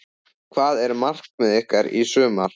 Hvert er markmið ykkar í sumar?